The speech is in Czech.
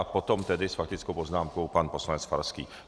A potom tedy s faktickou poznámkou pan poslanec Farský.